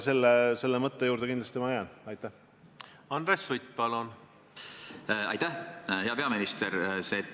Hea peaminister!